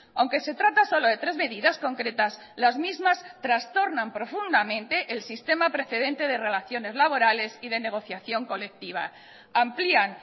aunque se trata solo de tres medidas concretas las mismas trastornan profundamente el sistema precedente de relaciones laborales y de negociación colectiva amplían